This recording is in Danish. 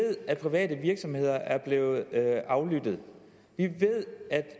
at private virksomheder er blevet aflyttet vi ved at